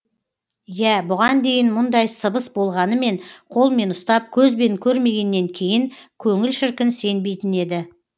иә бұған дейін мұндай сыбыс болғанымен қолмен ұстап көзбен көрмегеннен кейін көңіл шіркін сенбейтін еді